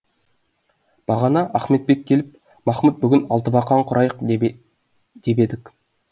бағана ахметбек келіп махмұт бүгін алтыбақан құрайық деп едік